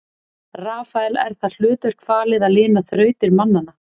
Rafael er það hlutverk falið að lina þrautir mannanna.